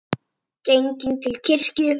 Genginn til kirkju.